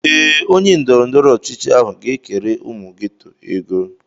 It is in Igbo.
Ee, onye ndọrọndọrọ ọchịchị ahụ ga-ekere ụmụ geto ego.